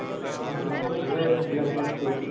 ആഹ് നിങ്ങൾ ഇതാ എടുത്തീന അപ്പൊ plus two?